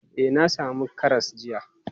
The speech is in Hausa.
E, na sami karas jiya.